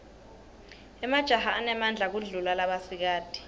emajaha anemadla kudulla labasikati